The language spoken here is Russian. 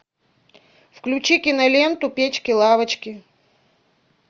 включи киноленту печки лавочки